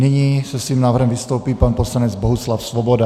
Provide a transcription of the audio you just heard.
Nyní se svým návrhem vystoupí pan poslanec Bohuslav Svoboda.